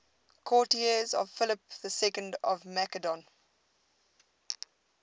courtiers of philip ii of macedon